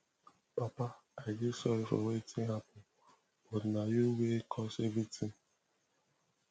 papa i dey sorry for wetin happen but na you wey cause everything